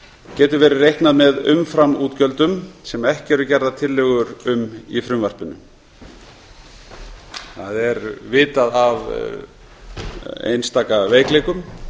getur verið reiknað með umframútgjöldum sem ekki eru gerðar tillögur um í frumvarpinu það er vitað af einstaka veikleikum